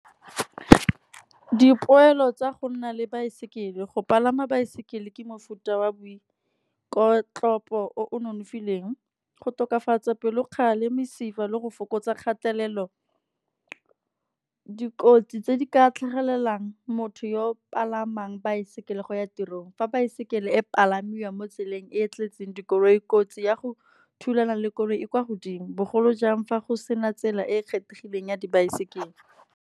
Dipoelo tsa go nna le baesekele go palama baesekele ke mofuta wa boikotlopo o o nonofileng. Go tokafatsa bopelokgale mesifa le go fokotsa kgatelelo. Dikotsi tse di ka tlhagelelang motho yo palamang baesekele go ya tirong, fa baesekele e palamiwa mo tseleng e e tletseng dikoloi, kotsi ya go thulana le koloi e kwa godimo. Bogolo jang fa go sena tsela e e kgethegileng ya dibaesekele.